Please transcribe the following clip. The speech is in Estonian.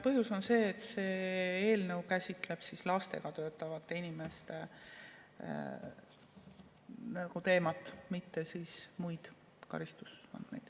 Põhjus on see, et see eelnõu käsitleb lastega töötavate inimeste teemat, mitte muid karistusandmeid.